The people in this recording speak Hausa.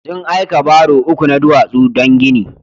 Sun aika baro uku na duwasu don gini.